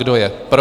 Kdo je pro?